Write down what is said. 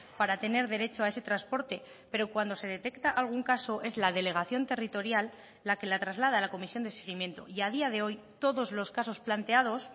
para tener derecho a ese transporte pero cuando se detecta algún caso es la delegación territorial la que la traslada a la comisión de seguimiento y a día de hoy todos los casos planteados